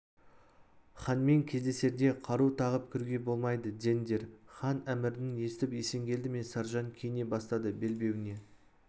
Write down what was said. ханмен кездесерде қару тағып кіруге болмайды деңдер хан әмірін естіп есенгелді мен саржан киіне бастады белбеуіне